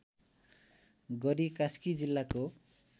गरी कास्की जिल्लाको